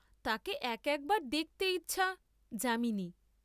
তাঁকে এক একবার দেখতে ইচ্ছা, যা।